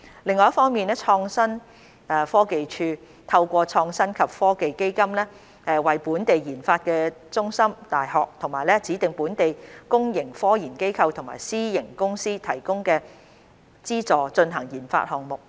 另一方面，創新科技署透過創新及科技基金為本地研發中心、大學、其他指定本地公營科研機構及私營公司提供資助進行研發項目。